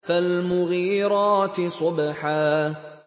فَالْمُغِيرَاتِ صُبْحًا